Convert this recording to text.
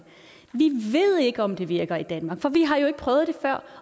vi ved ikke om det virker i danmark for vi har jo ikke prøvet det før